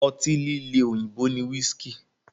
Ọtí líle òyìnbó ni whiski.